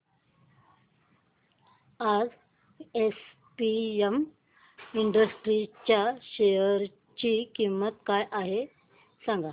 आज APM industries च्या share ची किंमत काय आहे सांगा